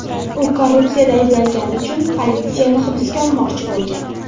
U korrupsiyada ayblangani uchun politsiya uni hibsga olmoqchi bo‘lgan.